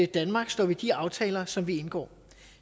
danmark står ved de aftaler som vi indgår